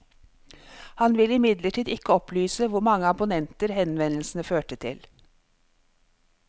Han vil imidlertid ikke opplyse hvor mange abonnementer henvendelsene fører til.